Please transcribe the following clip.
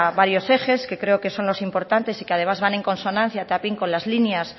varios ejes que creo que son los importantes y que además van en consonancia también con las líneas